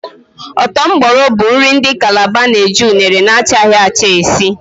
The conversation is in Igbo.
Ọ́tọ́ Mboro bụ nri ndị Kalaba na-eji unere na-achaghị acha esi